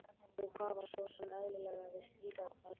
Og hvað var svo sem eðlilegra við slíkar aðstæður?